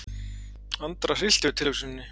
Andra hryllti við tilhugsuninni.